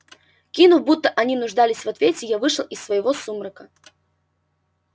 кивнув будто они нуждались в ответе я вышел из своего сумрака